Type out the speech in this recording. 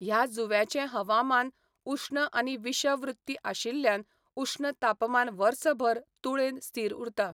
ह्या जुंव्याचें हवामान उश्ण आनी विषव वृत्तीय आशिल्ल्यान उश्ण तापमान वर्सभर तुळेन स्थिर उरता.